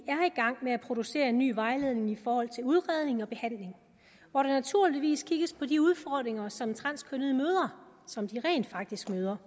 gang med at producere en ny vejledning i forhold til udredning og behandling hvor der naturligvis kigges på de udfordringer som transkønnede møder som de rent faktisk møder